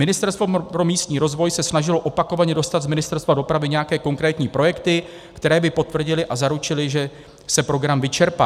Ministerstvo pro místní rozvoj se snažilo opakovaně dostat z Ministerstva dopravy nějaké konkrétní projekty, které by potvrdily a zaručily, že se program vyčerpá.